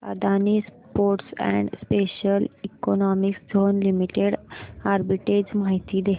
Adani ports and special economic zone limited arbitrage माहिती दे